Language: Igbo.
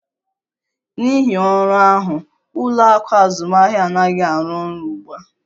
N'ihi ọrụ ahụ, ụlọ akụ azụmahịa anaghị arụ ọrụ ugbu a